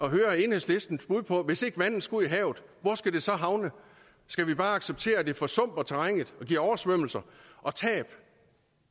at høre enhedslistens bud på at hvis ikke vandet skal ud i havet hvor skal det så havne skal vi bare acceptere at det forsumper terrænet og giver oversvømmelser og tab